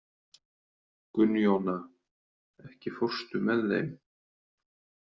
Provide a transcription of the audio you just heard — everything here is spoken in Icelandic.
Gunnjóna, ekki fórstu með þeim?